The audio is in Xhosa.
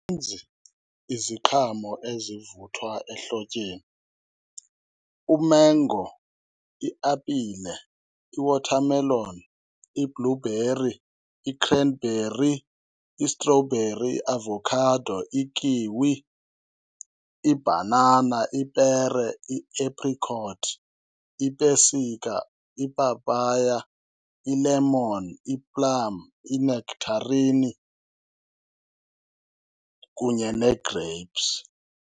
ninzi iziqhamo ezivuthwa ehlotyeni. Umengo, iapile, i-watermelon, i-blueberry, i-cranberry, istrobheri, iavakhado, i-kiwi, ibhanana, ipere, ieprikothi, ipesika, ipapaya, ilemoni, iplami, inektharini kunye neegreyipsi.